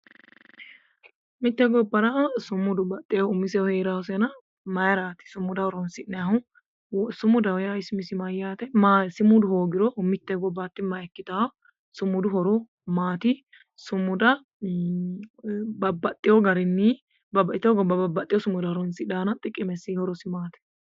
mitte gobbara sumudu umisehu baxxinosehu heeraasena mayiiraati sumuda horonsi'nannihu? sumudaho yaa umisi isi mayyaate sumudu hoogiro mitte gobba htti makkitanno sumudu horo maati? sumuda babaxewo garinni babbaxitino gobba babbaxewo sumuda horonsidhannona xiqimesi horosi maati?